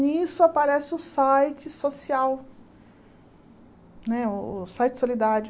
Nisso aparece o site social, né o o site solidário.